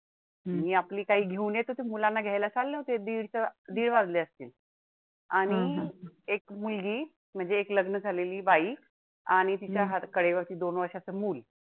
म्हणजे एक लग्न झालेली बाई आणि तिच्या कडेवर चा दोन वर्षांचा मुलं.